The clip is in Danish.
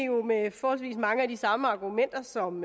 jo med forholdsvis mange af de samme argumenter som